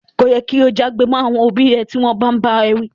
Ko yẹ ki o já'gbe mọ àwọn òbí rẹ ti wọn bàa n bá ẹ wi.